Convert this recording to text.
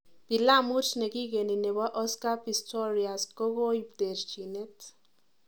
Pilamut ne kikeni nebo Oscar Pistorious kokoib terchinet